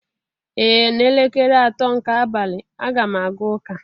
Ee n'elekere atọ nke abalị, a ga m aga ụka.